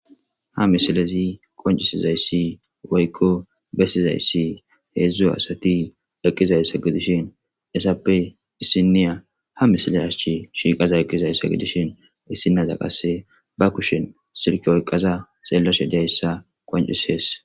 Ha misilezi qonccisiza issi woykko bessiza issi heezzu asati eqqiza issa gidishin essappe issinniya ha misile achchi shiiqaza eqqiza issa gidishin issinaza qassi ba kushin silke oyqqaza xeellashe day issa qonccisees.